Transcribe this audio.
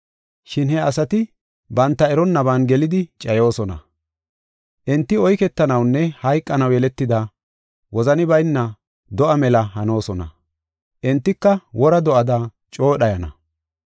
Shin he asati banta eronnaban gelidi cayoosona. Enti oyketanawunne hayqanaw yeletida, wozani bayna do7a mela hanoosona; entika wora do7ada coo dhayana.